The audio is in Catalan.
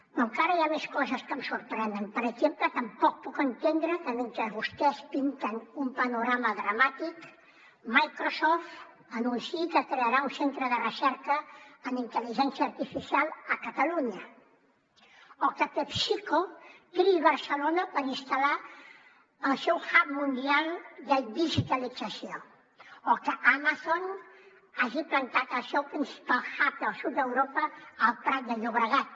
però encara hi ha més coses que em sorprenen per exemple tampoc puc entendre que mentre vostès pinten un panorama dramàtic microsoft anunciï que crearà un centre de recerca en intel·ligència artificial a catalunya o que pepsico triï barcelona per instal·lar el seu hubseu principal hub al sud d’europa al prat de llobregat